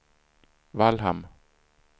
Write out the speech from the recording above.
Vallhamn